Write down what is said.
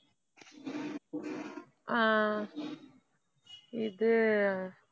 அஹ் இது,